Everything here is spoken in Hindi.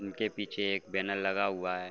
उनके पीछे एक बैनर लगा हुआ है।